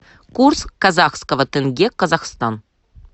курс казахского тенге казахстан